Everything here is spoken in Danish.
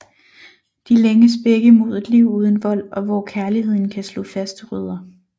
De længes begge mod et liv uden vold og hvor kærligheden kan slå faste rødder